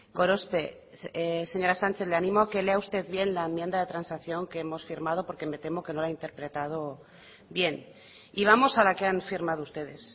gorospe señora sánchez le animo a que lea usted bien la enmienda de transacción que hemos firmado porque me temo que no lo ha interpretado bien y vamos a la que han firmado ustedes